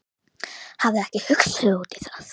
Hafði ekki hugsað út í það.